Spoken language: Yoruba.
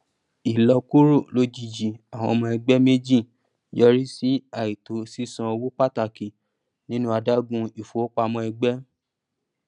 ìlọkúrò lojijì àwọn ọmọ ẹgbẹ méjì yọrí sí àìtó sísan owó pàtàkì nínú adágún ifowopamọ ẹgbẹ